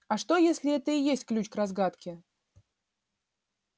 а что если это и есть ключ к разгадке